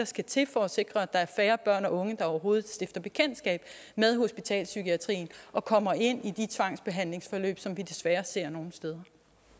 skal til for at sikre at der er færre børn og unge der overhovedet stifter bekendtskab med hospitalspsykiatrien og kommer ind i de tvangsbehandlingsforløb som vi desværre ser nogle steder